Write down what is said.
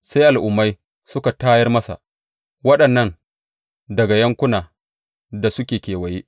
Sai al’ummai suka tayar masa, waɗannan daga yankunan da suke kewaye.